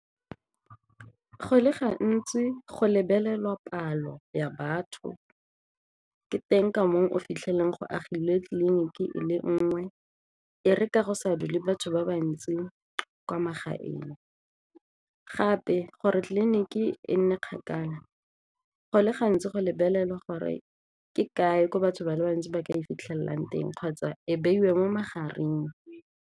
Go le gantsi go lebelelwa palo ya batho, ke teng ka moo o fitlhelelang go agilwe tleliniki e le nngwe e re ka go sa dule batho ba bantsi kwa magaeng, gape gore tliliniki e nne kgakala go le gantsi go lebelela gore ke kae gore batho ba le bantsi ba ka e fitlhelang teng kgotsa ko beiwe mo magareng.